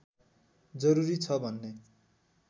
जरुरी छ भन्ने